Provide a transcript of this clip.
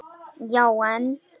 Já en.?